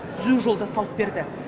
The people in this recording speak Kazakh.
түзу жолды салып берді